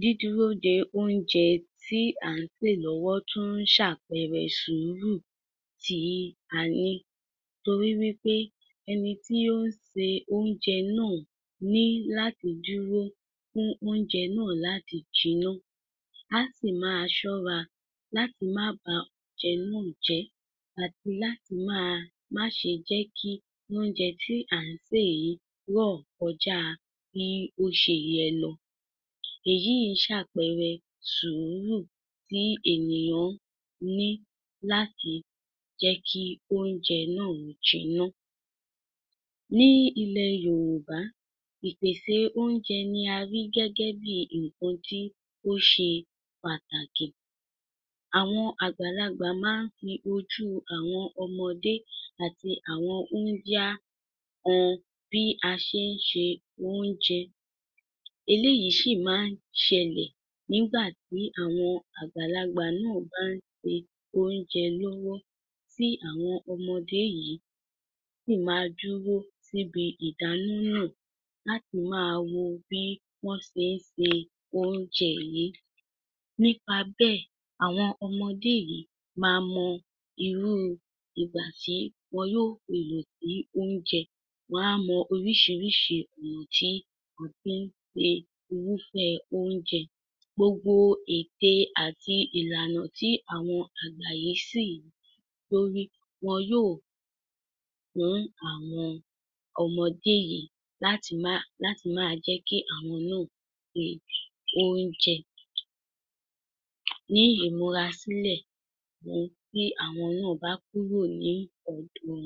Dídúró de oúnjẹ tí à ń sè lọ́wọ́ tún ń ṣàpẹrẹ sùúrù tíì a ní. Torí wí pé ẹni tí ó ń ṣe oúnjẹ náà ní láti dúró fún oúnjẹ náà láti jiná. A sì máa ṣọ́ra láti má ba oúnjẹ náà jẹ́ àti láti máa má ṣe jẹ́ kí oúnjẹ tí à ń sè yìí rọ̀ kọjáa bíi ó ṣe yẹ lọ. Èyíì ń ṣàpẹrẹ sùúrù tí ènìyàn ní láti jẹ́ kí oúnjẹ náà ó jiná Ní ilẹ̀ Yòrùbá, ìpèsè oúnjẹ ni a rí gẹ́gẹ́ bíi nǹkan tí ó ṣe pàtàkì. Àwọn àgbàlagbà má ń fi ojú àwọn ọmọdé àti àwọn húńdíá han bí a ṣé ń ṣe oúnjẹ. Eléyìí sì má ń ṣẹlẹ̀ nígbà tí àwọn àgbàlagbà náà bá ń ṣe oúnjẹ lọ́wọ́. Tí àwọn ọmọdé yìí sì ma dúró síbi ìdáná náà láti máa wo bí wọ́n ṣe ń ṣe oúnjẹ yìí. Nípa bẹ́ẹ̀, àwọn ọmọdé yìí ma mọ irúu ìgbà tí wọn yo fèlò sí oúnjẹ. Wọ́n a mọ oríṣiríṣi èlò tí a fi ń ṣe irúfẹ́ oúnjẹ. Gbogbo ète àti ìlànà tí àwọn àgbà yìí sì lórí, wọn yóò fún àwọn ọmọdé yìí láti má láti máa jẹ́ kí àwọn náà ṣe oúnjẹ. Ní ìmúra sílẹ̀ fún tí àwọn náà bá kúrò ní ọ̀dọ̀ wọn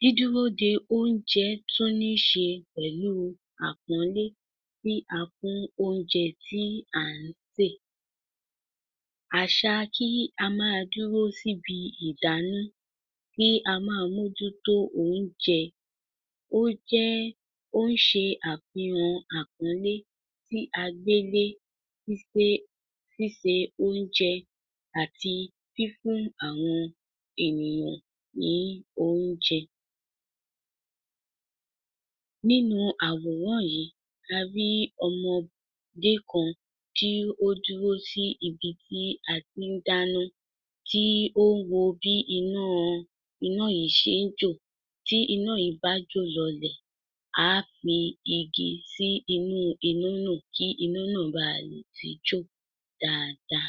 Dídúró de oúnjẹ tún níí ṣe pẹ̀lú àpọ́nlé tí a fún oúnjẹ tí à ń sè. Àṣà kí a máa dúró síbi ìdáná, kí a máa mójútó oúnjẹ, ó jẹ́ẹ́, ó ń ṣe àfihàn àpọ́nlé tí a gbé lé í pé ṣíṣe oúnjẹ àti fífún àwọn ènìyàn ní oúnjẹ. Nínu àwòrán yìí a rí ọmọdé kan tí ó dúró sí ibi tí a tí ń dáná, tí ó ń wo bí ináa iná yìí ṣe ń jò. Tí iná yìí bá jó lọlẹ̀, á fi igi si inú náà kí iná náà baà lè tún jò dáadáa